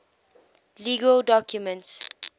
legal documents